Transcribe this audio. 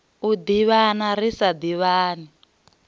u ḓivhana ri sa ḓivhani